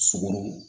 Sogo